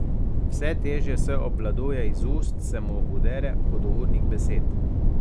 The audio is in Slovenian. Vse težje se obvladuje, iz ust se mu udere hudournik besed.